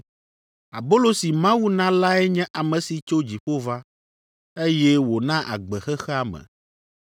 Abolo si Mawu na lae nye ame si tso dziƒo va, eye wòna agbe xexea me.”